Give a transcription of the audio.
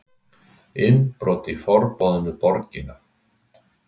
Innbrot í Forboðnu borgina